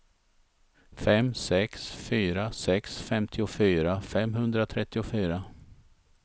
fem sex fyra sex femtiofyra femhundratrettiofyra